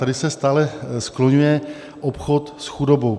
Tady se stále skloňuje obchod s chudobou.